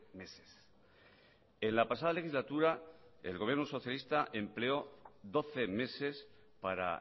meses en la pasada legislatura el gobierno socialista empleó doce meses para